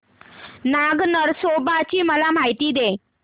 नाग नरसोबा ची मला माहिती दे